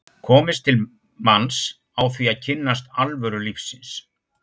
komist til manns á því að kynnast alvöru lífsins.